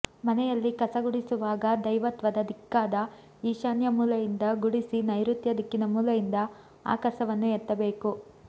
ಮನೆಯಲ್ಲಿ ಕಸ ಗುಡಿಸುವಾಗ ದೈವತ್ವದ ದಿಕ್ಕಾದ ಈಶಾನ್ಯ ಮೂಲೆಯಿಂದ ಗುಡಿಸಿ ನೈರುತ್ಯ ದಿಕ್ಕಿನ ಮೂಲೆಯಿಂದ ಆ ಕಸವನ್ನು ಎತ್ತಬೇಕು